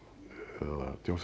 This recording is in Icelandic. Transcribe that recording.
eða